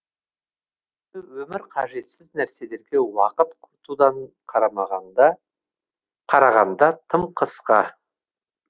өйіткені өмір қажетсіз нәрселерге уақыт құртудан қарағанда тым қысқа